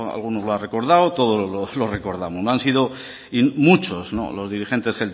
alguno lo ha recordado todos los recordamos no han sido muchos los dirigentes